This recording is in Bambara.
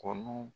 Kɔnɔ